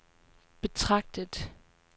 betragtet